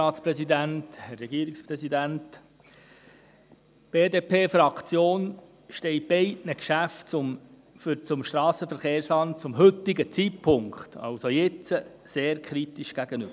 Die BDP-Fraktion steht beiden Geschäften zum Strassenverkehrsamt zum heutigen Zeitpunkt sehr kritisch gegenüber.